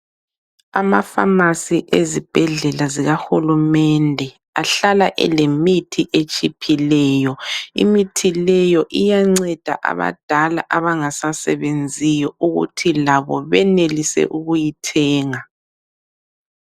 Amapharmarcy ezibhedlela zikahulumende ahlala elemithi etshiphileyo. Imithi leyo iyanceda abadala abangasasebenziyo ukuthi labo benelise ukuyithenga.